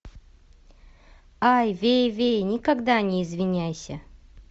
ай вейвей никогда не извиняйся